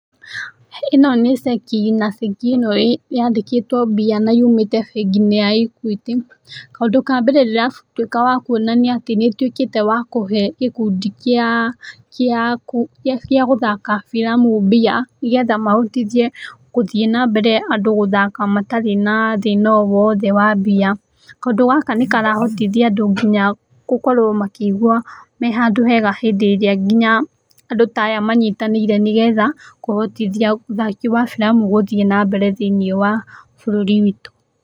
Ĩno nĩ ceki, na ceki ĩno yandĩkĩtwo mbia na yumĩte bengi-inĩ ya Equity. Kaũndũ ka mbere ndĩratuĩka wa kuona nĩ atĩ nĩ ĩtuĩkĩte wa kũhe gĩkundi kĩa, kĩa, gĩa gũthaka filamu mbia nĩ getha mahotithie gũthiĩ na mbere andũ gũthaka matarĩ na thĩna o wothe wa mbia. Kaũndũ gaka nĩ karahotithia andũ nginya gũkorwo makĩigua me handũ hega hĩndĩ ĩrĩa nginya andũ ta aya manyitanĩire nĩ getha kũhotithia ũthaki wa filamu gũthiĩ na mbere thĩiniĩ wa bũrũri witũ.